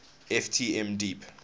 ft m deep